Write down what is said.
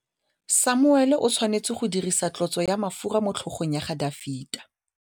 Samuele o tshwanetse go dirisa tlotsô ya mafura motlhôgong ya Dafita.